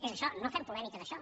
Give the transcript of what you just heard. és això no fem polèmica d’això